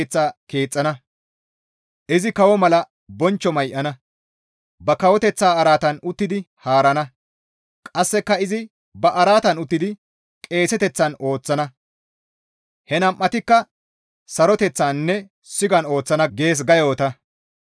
Izi GODAA keeththa keexxana; izi kawo mala bonchcho may7ana; ba kawoteththaa araatan uttidi haarana; qasseka izi ba araatan uttidi qeeseteththan ooththana; he nam7atikka saroteththaninne sigan ooththana» gees ga yoota.